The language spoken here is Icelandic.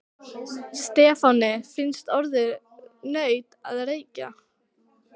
Stefáni fannst orðið nautn að reykja.